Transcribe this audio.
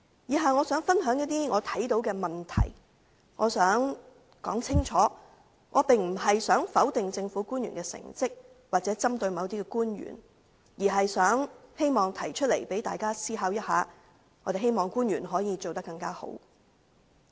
以下我想分享我看到的問題，我想表明，我並非想否定政府官員的成績或針對某些官員，而是希望提出問題，讓大家思考一下，希望官員可以做得更好。